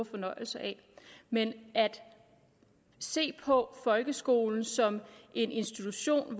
fornøjelse af men at se på folkeskolen som en institution